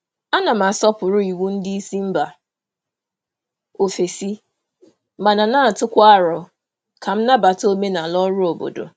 Ana m asọpụrụ iwu ndị isi mba ofesi mana na-atụkwa aro ka m nabata omenala ọrụ obodo.